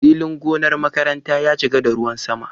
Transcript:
Filin gonar makaranta ya cika da ruwan sama.